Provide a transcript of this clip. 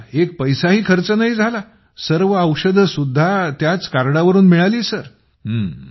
माझा एक पैसाही खर्च झाला नाही सर्व औषधेसुद्धा त्याच कार्डवरून मिळाली आहेत